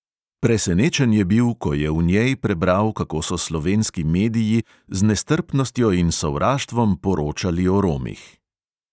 Presenečen je bil, ko je v njej prebral, kako so slovenski mediji z nestrpnostjo in sovraštvom poročali o romih.